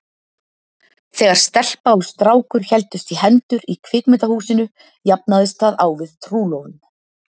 Þegar stelpa og strákur héldust í hendur í kvikmyndahúsinu jafnaðist það á við trúlofun.